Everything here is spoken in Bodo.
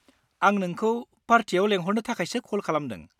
आं नोंखौ पार्टियाव लेंहरनो थाखायसो कल खालामदों।